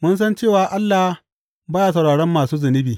Mun san cewa Allah ba ya sauraron masu zunubi.